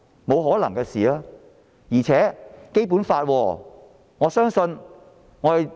不可能的，而且這是《基本法》。